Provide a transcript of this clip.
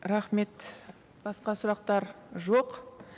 рахмет басқа сұрақтар жоқ